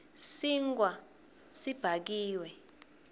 sinkhwa sibhakiwe